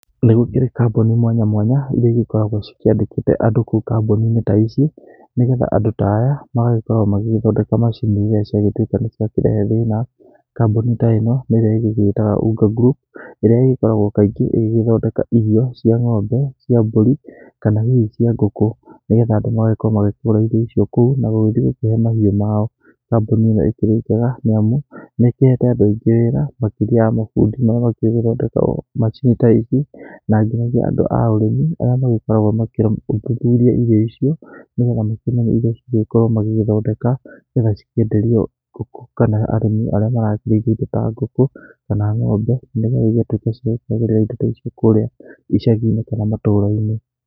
Nĩ gũkĩrĩ kambuni mwanya mwanya iria igĩkoragwo cikĩandĩkĩte andũ kou ta ici nĩgetha andũ ta aya magagĩkorwo magĩgĩthondeka macini iria ciagĩtwika niciakirehe thĩna kambũni ta ĩno, ĩrĩa íĩtaga Unga group ĩrĩa ĩgĩkoragwo kaĩngĩ ĩgĩgĩthondeka irio cia ngombe, cia mbori, kana hihi cia ngũkũ, nĩgetha andũ magagĩkorwo makĩgũra irio icio kou na rĩngĩ gũkĩhe mahiũ mao, kambũni ĩno ĩkĩrĩ njega, nĩ amu nĩ ĩkĩhete andũ aingĩ wera , makĩria mafundi marĩa makĩuĩ gũthondeka macini ta ici na angi nĩ andũ a ũrĩmi arĩa magĩkoragwo makĩthuthuria irio icio nĩgetha makĩmenye ũrĩa mangĩkorwo magĩgĩthondeka nĩgetha cikĩenderio ngũkũ kana arĩmi arĩa marakĩrĩithia indo ta ngũkũ, kana ngombe nigũo ĩgĩtuike cia kuagĩrira indũ ta icio kũria icagiine kana matũra-inĩ.